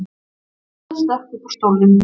Milla stökk upp úr stólnum.